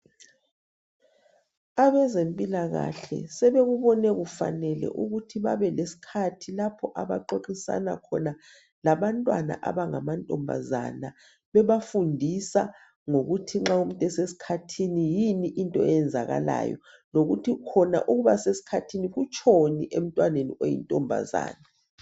Abezempilakahle sebekubone kufanele ukuthi babelesikhathi .Lapho abaxoxisana khona labantwana abangama ntombazana .Bebafundisa ngokuthi nxa umuntu esesikhathini yini into eyenzakalayo ,lokuthi khona ukuba sesikhathini kutshoni emntwaneni oyintombazana.